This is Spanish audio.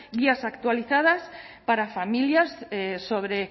guías actualizadas para familias sobre